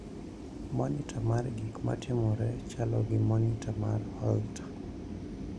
Monitor mar gik matimore chalo gi monita mar Holter.